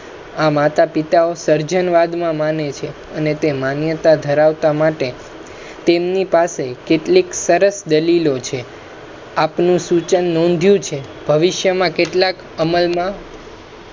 આ માતા પિતા ઓ સર્જનવાદ માં માને છે. અને તે માન્યતા ધરાવતા માટે તેમની પાસે કેટલીક સરસ દલિલો છે. આપનુ સુચન નોંધ્યુ છે ભવિષ્યામા કેટલાક અમલ મા